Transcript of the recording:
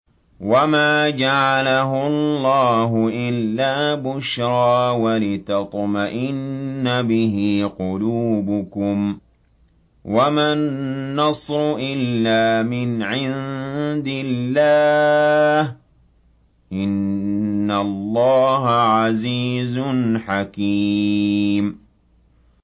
وَمَا جَعَلَهُ اللَّهُ إِلَّا بُشْرَىٰ وَلِتَطْمَئِنَّ بِهِ قُلُوبُكُمْ ۚ وَمَا النَّصْرُ إِلَّا مِنْ عِندِ اللَّهِ ۚ إِنَّ اللَّهَ عَزِيزٌ حَكِيمٌ